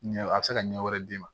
Ɲɛ a bɛ se ka ɲɛ wɛrɛ d'i ma